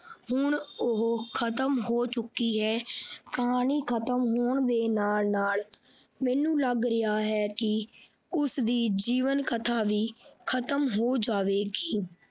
ਹੁਣ ਉਹ ਖਤਮ ਹੋ ਚੁੱਕੀ ਹੈ ਕਹਾਣੀ ਖਤਮ ਹੋਣ ਦੇ ਨਾਲ ਨਾਲ ਮੈਨੂੰ ਲੱਗ ਰਿਹਾ ਹੈ ਕਿ ਉਸਦੀ ਜੀਵਨ ਕਥਾ ਵੀ ਖਤਮ ਹੋ ਜਾਵੇਗੀ।